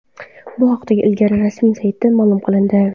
Bu haqida liga rasmiy saytida ma’lum qilindi .